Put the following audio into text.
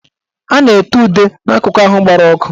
A na-ete ude n'akụkụ ahụ gbara ọkụ